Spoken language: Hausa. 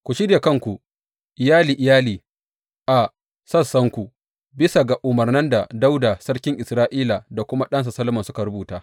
Ku shirya kanku iyali iyali a sassanku, bisa ga umarnan da Dawuda sarkin Isra’ila da kuma ɗansa Solomon suka rubuta.